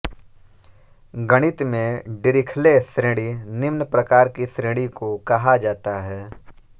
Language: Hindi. गणित में डीरिख्ले श्रेणी निम्न प्रकार की श्रेणी को कहा जाता है